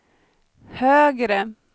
högre